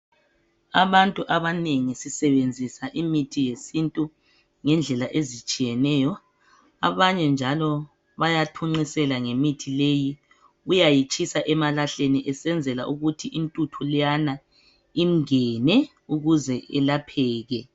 Abantu abanengi sisebenzisa imithi yesintu ngendlela ezitshiyeneyo. Abanye njalo bayathunqisela ngemithi leyi, Uyayitshisa emalahleni, ukuze intuthu lqeyana imngene. Ukuze elapheke.